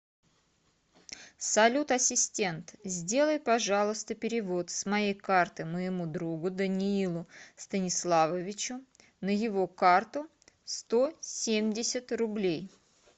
салют ассистент сделай пожалуйста перевод с моей карты моему другу даниилу станиславовичу на его карту сто семьдесят рублей